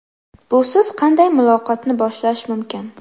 Busiz qanday muloqotni boshlash mumkin?